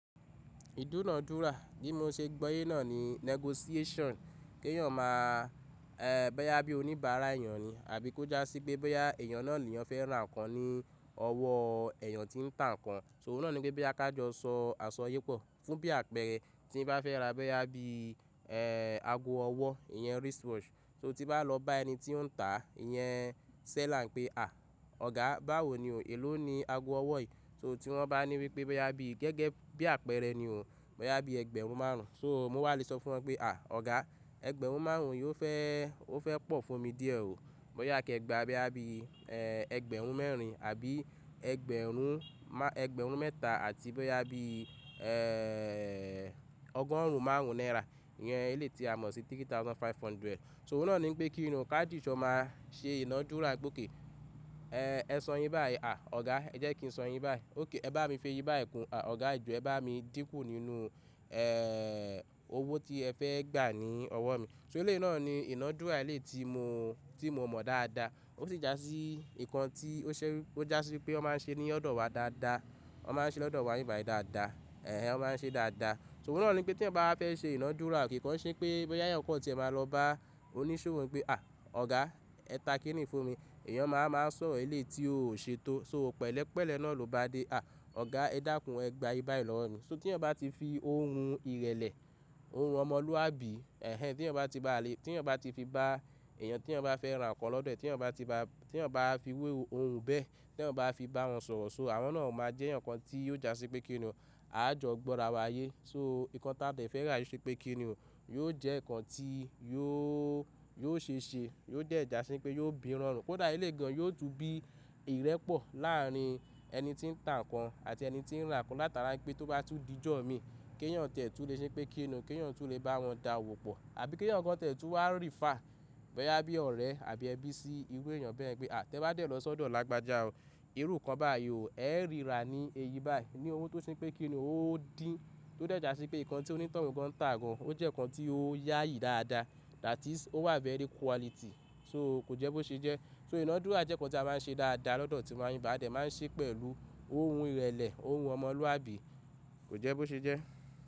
Ìdúnàádúrà bí mo ṣe gbọ́yé náà ni negotiation. Kéyàn máa, eh, bẹ́ já bí oníbàárà èèyàn ni àbí kó já sí pé bẹ́ já èèyàn náà ni èèyàn fẹ́ ra nǹkan ní ọwọ́ èèyàn tí ń tà nǹkan. So oúnà náà ni pé bẹ́ já kí a jọ sọ àṣọyé pọ̀. Fún bí àpẹẹrẹ tí ń bá fẹ́ ra bẹ́ já bí, ẹ́ẹ́, ago ọwọ́, ìyẹn wristwatch, so tí bá lọ bá ẹni tí ó ń tà, ìyẹn seller pé "à, ọ̀gá báwo ni o, èló ni ago ọwọ́ yìí?" So tí wọ́n bá ní wípé bẹ́ já bí gẹ́gẹ́ bí àpẹẹrẹ ni o, bóyá bí ẹgbẹ̀rún márùn-ún. So mo wà lè sọ fún wọn pé "à, ọ̀gá ẹgbẹ̀rún márùn-ún yóò fẹ́, ó fẹ́ pọ̀ fún mi díẹ̀ o. Bóyá kí ẹ gba bóyá bí, ẹ́ẹ́, ẹgbẹ̀rún mẹ́rin àbí ẹgbẹ̀rún, ẹgbẹ̀rún mẹ́ta àti bẹ́ já bí, ẹ́ẹ́ẹ́, ọgọ́rùn-ún márùn-ún náírà. Ìyẹn eléyìí tí a mọ̀ sí ẹgbẹ̀rún mẹ́ta ó lé ọgọ́rùn-ún márùn-ún. So oúnà náà ni pé kí inú ká dì jọ máa ṣe ìnádúrà bókè. "Ẹ̀ẹ́, ẹ san iye báyìí. À, ọ̀gá ẹ jẹ́ kí n san iye báyìí. Óké ẹ bá mi fi iye báyìí kún. À, ọ̀gá ìjọ ẹ bá mi dínkù nínú, ẹ́ẹ́ẹ́, owó tí ẹ fẹ́ gbà ní ọwọ́ mi." So eléyìí náà ni ìnádúrà eléyìí tí mo, tí mo mọ̀ dáadáa. Ó sì já sí nǹkan tí ó ṣẹ́, ó já sí pé ó máa ń ṣe ní ọ̀dọ̀ wa dáadáa. Wọ́n máa ń ṣe lọ́dọ̀ wa níbí bàyí dáadáa. Ẹ̀hẹn, wọ́n máa ń ṣe dáadáa. So oúnà náà ni pé tí ẹn bá fẹ́ ṣe ìnádúrà kì í kan ṣé pé bẹ́ já ìyọ̀ kọ́ tí ẹ máa lọ bá oníṣòwò pé "à, ọ̀gá ẹ ta kí nìí fún mi?" Ìyẹn máa, máa sọ̀rọ̀ eléyìí tí ó o ṣe tó. So o pẹ̀lẹ́pẹ̀lẹ́ náà ló bá dé. "À, ọ̀gá ẹ dákún ẹ gba iye báyìí lọ́wọ́ mi." So tí èyàn bá ti fi ohùn ìrẹ̀lẹ̀, ohùn ọmọlúwàbí, ẹ̀hẹn, tí ẹn bá ti ba lè, tí ẹn bá ti fi bá èèyàn tí ẹn bá fẹ́ ra nǹkan lọ́dọ̀ ẹ̀, tí ẹn bá ti ba, tí ẹn bá fi irú ohùn bẹ́ẹ̀, tí ẹn bá fi bá wọn sọ̀rọ̀, so àwọn náà máa jẹ́ èyàn kan tí yóò já sí pé kí n nù, a jọ gbọ́ra wa ayé. So nǹkan táà dẹ̀ fẹ́ rà yóò ṣe pé kí n nù, yóò jẹ́ nǹkan tí yóò, yóò ṣeéṣe, yóò dẹ̀ já sí pé yóò bí ìrọ̀rùn. Kódà ilé gan-an yóò tú bí ìrẹ́pọ̀ láàárín ẹni tí ń tà nǹkan àti ẹni tí ń ra nǹkan. Látara pé tó bá tú di jọ̀mi, kéyàn tẹ̀ tú lè ṣe pé kí n nù, kéyàn tẹ̀ tú lè bá wọn dáàwò pọ̀ àbí kéyàn nǹkan tẹ̀ tú wá refer bẹ́ já bí ọ̀rẹ́ àbí ẹbí sí irú èèyàn bẹ́ẹ̀ ẹ́ gbé. "À, tẹ bá dẹ̀ lọ sódò lágbájá ó, irú nǹkan báyìí o, ẹ́ rí ra ní iye báyìí." Ni owó tó ṣe pé kí n nù ó dín, tó dẹ̀ já sí pé nǹkan tí onítòhún gan ń tà gan, o jẹ́ nǹkan tí ó yayi dáadáa. That is, o wà very quality. So kò jẹ́ bó ṣe jẹ́. So ìnádúrà jẹ́ nǹkan tí a máa ń ṣe dáadáa lọ́dọ̀ tí wa níbí bàyí a dẹ̀ máa ń ṣe pẹ̀lú ohùn ìrẹ̀lẹ̀, ohùn ọmọlúwàbí, kò jẹ́ bó ṣe jẹ́.